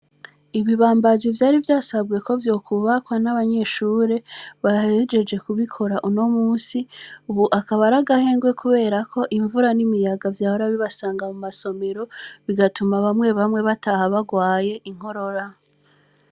Ibibambazi vyari vyasabwe ko vyokububakwa n'abanyeshure barhejeje kubikora uno musi, ubu akabaragahengwe, kubera ko imvura n'imiyaga vya bura bibasanga mu masomero bigatuma bamwe bamwe bataha barwaye inkorora.